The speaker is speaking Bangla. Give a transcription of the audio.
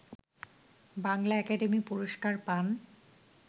বাংলা একাডেমি পুরস্কার পান